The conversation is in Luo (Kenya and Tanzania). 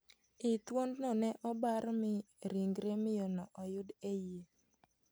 Ii thuondno ne obar mi ringre miyono oyud e iye.